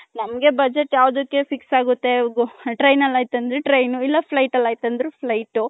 ನಮ್ಮಗೆ ಬಜೆಟ್ ಯಾವ್ದುಕ್ಕೆ fix ಆಗುತ್ತೆ train ಅಲ್ಲಿ ಆಯ್ತು ಅಂದ್ರೆ train ಇಲ್ಲ flight ಅಲ್ಲಿ ಆಯ್ತು ಅಂದ್ರೆ flight ಊ .